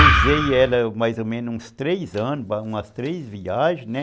Usei ela mais ou menos uns três anos, umas três viagens, né?